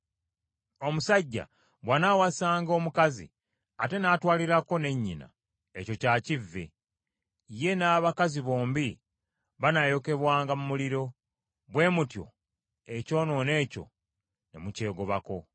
“ ‘Omusajja bw’anaawasanga omukazi ate n’atwalirako ne nnyina, ekyo kya kivve. Ye n’abakazi bombi banaayokebwanga mu muliro, bwe mutyo ekyonoono ekyo ne mukyegobako.